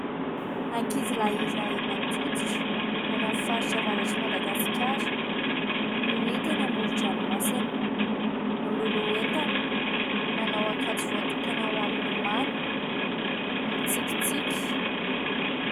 Ankizilahy iray mainty hoditra any amin'ny faritra avaratr'i Madagasikara no hita eny amoron-dranomasina ; miloloha entana, manao akanjo voatokana ho an'ny milomano, mitsikitsiky.